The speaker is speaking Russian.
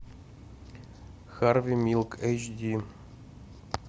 харви милк эйч ди